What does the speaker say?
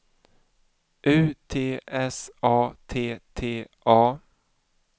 U T S A T T A